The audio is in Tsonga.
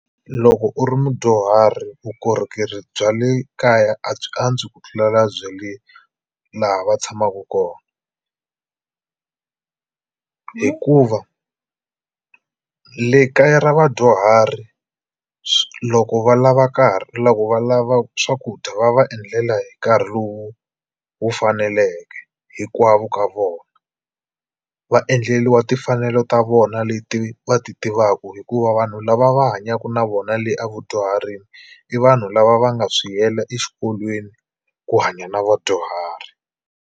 Loko u ri mudyuhari vukorhokeri bya le kaya a byi antswi ku tlulela bya le laha va tshamaku kona hikuva le kaya ra vadyuhari loko va lava karhi loko va lava swakudya va va endlela hi nkarhi lowu wu faneleke hinkwavo ka vona va endleliwa timfanelo ta vona leti va ti tivaku hikuva vanhu lava va hanyaku na vona le a vadyuharini i vanhu lava va nga swi yela exikolweni ku hanya na vadyuhari.